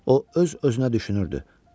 O öz-özünə düşünürdü: